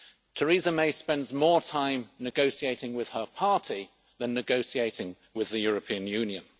Theresa May spends more time negotiating with her party than negotiating with the European Union.